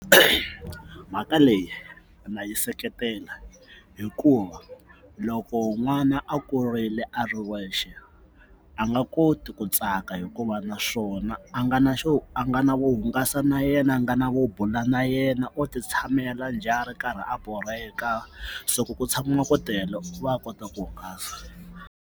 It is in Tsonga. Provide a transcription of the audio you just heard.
mhaka leyi na yi seketela hikuva loko n'wana a kurile a ri wexe a nga koti ku tsaka hikuva na swona a nga na xo a nga na vo hungasa na yena a nga na vo bula na yena o ti tshamela njhe a ri karhi a borheka so ku ku tshama ku tele o va a kota ku hungasa.